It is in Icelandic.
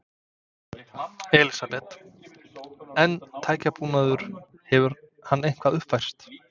Elísabet: En tækjabúnaður, hefur hann eitthvað uppfærst?